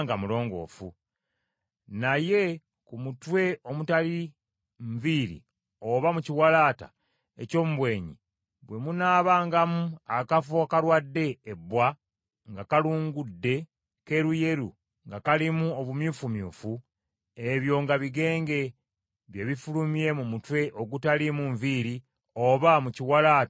Naye mu mutwe omutali nviiri oba mu kiwalaata eky’omu bwenyi bwe munaabangamu akafo akalwadde ebbwa nga kalungudde keeruyeru nga kalimu obumyufumyufu, ebyo nga bigenge bye bifulumye mu mutwe ogutaliimu nviiri oba mu kiwalaata eky’omu bwenyi.